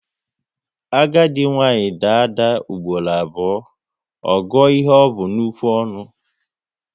Agadi nwaanyị daa ada ugboro abụọ, ọ gụọ ihe o bu n'ukwu ọnụ